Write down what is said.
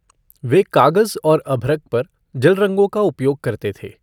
वे कागज और अभ्रक पर जल रंगों का उपयोग करते थे।